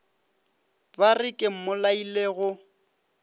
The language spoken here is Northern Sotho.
ba re ke mmolaile go